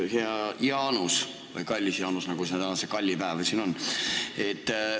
Hea Jaanus või kallis Jaanus – meil on täna siin ju kallipäev!